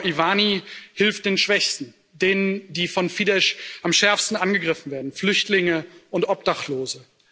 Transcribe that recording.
Gábor Iványi hilft den Schwächsten, denen, die von Fidesz ich am schärfsten angegriffen werden Flüchtlingen und Obdachlosen.